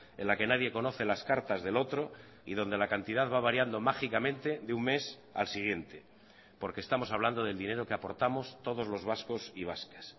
en la que nadie conoce las cartas del otro y donde la cantidad va variando mágicamente de un mes al siguiente porque estamos hablando del dinero que aportamos todos los vascos y vascas